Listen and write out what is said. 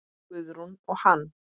Guðrún og hann.